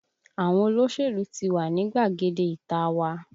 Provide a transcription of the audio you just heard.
Àwọn olóṣèlú ti wà ní gbàgede ìta a wa